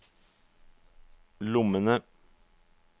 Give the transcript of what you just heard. lommene